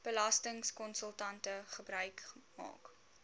belastingkonsultante gebruik maak